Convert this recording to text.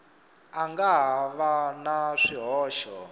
nga ha va na swihoxo